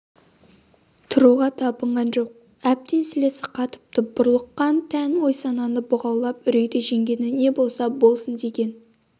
тұруға талпынған жоқ әбден сілесі қатыпты бұрлыққан тән ой-сананы бұғаулап үрейді жеңгені не болса болсын деген